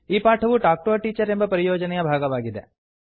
ಈ ಪಾಠವು talk to a teacher ಎಂಬ ಪರಿಯೋಜನೆಯ ಭಾಗವಾಗಿದೆ